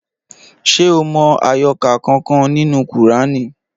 Ṣé o mọ àyọkà kankan nínú kùránì?